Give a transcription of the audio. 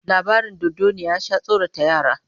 Labarin dodanniya ya sha tsorata yara